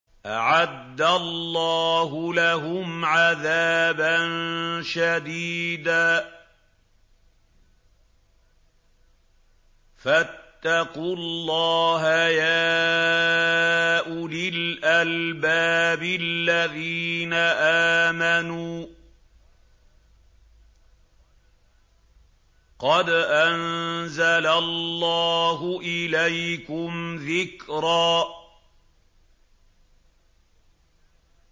أَعَدَّ اللَّهُ لَهُمْ عَذَابًا شَدِيدًا ۖ فَاتَّقُوا اللَّهَ يَا أُولِي الْأَلْبَابِ الَّذِينَ آمَنُوا ۚ قَدْ أَنزَلَ اللَّهُ إِلَيْكُمْ ذِكْرًا